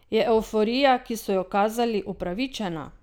Je evforija, ki so jo kazali, upravičena?